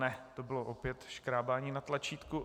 Ne, to bylo opět škrábání na tlačítku.